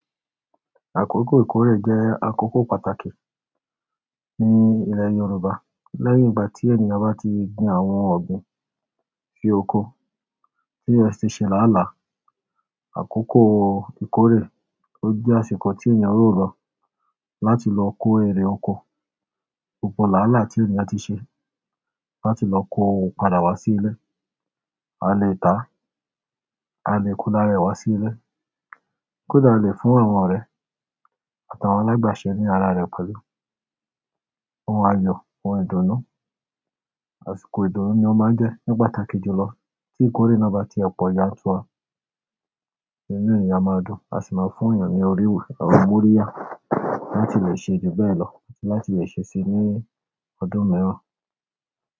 Àkókò ìkórè jẹ́ àkókò pàtàkì ní ilẹ̀ Yorùbá. Lẹ́yìn ìgbà tí ènìyàn bá ti gbin àwọn ọ̀gbìn, fi oko tí e ti ṣe láàlá, àkókò ìkórè ó jẹ́ àsìkò tí ènìyàn ó lọ láti lọ kó èrè oko gbogbo láàlá tí ènìyàn ti ṣe láti lọ kó òun padà wá sí ilé. A lè tà á, a lè ko lára ẹ̀ wá sí ilé, kódà a lè fún àwọn ọ̀rẹ́ àtàwọn alágbàṣẹ ní ara rẹ̀ pẹ̀lú ohun àyọ̀, ohun ìdùnnú. Àsìkò ìdùnnú ni ó máa ń jẹ́ ní pàtàkì jùlọ tí ìkórè náà bá ti e pọ̀ yantua. Inú ènìyàn a máa dùn, a sì máa fún ènìyàn ní oríwu a maa moríyà láti lè ṣe ju bẹ́ẹ̀ lọ àti láti lè ṣe e ní ọdún miran.